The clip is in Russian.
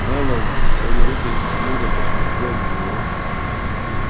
мэллоу в свою очередь хмуро посмотрел на него